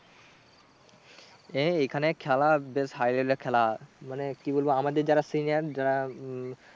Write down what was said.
এই এখানে খেলা বেশ high level এ খেলা মানে কি বলবো আমাদের যারা senior যারা উম